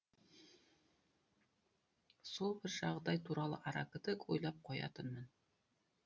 сол бір жағдай туралы аракідік ойлап қоятынмын